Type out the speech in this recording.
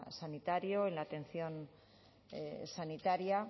sanitario en la atención sanitaria